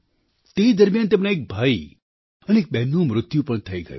તે દરમિયાન તેમના એક ભાઈ અને બહેનનું મૃત્યુ પણ થઈ ગયું